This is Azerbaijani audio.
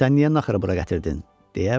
"Sən niyə naxırı bura gətirdin?"